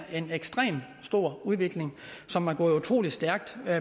en ekstremt stor udvikling som er gået utrolig stærkt